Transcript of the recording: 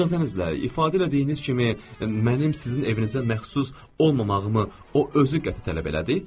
İcazənizlə, ifadə elədiyiniz kimi mənim sizin evinizə məxsus olmamağımı o özü qəti tələb elədi.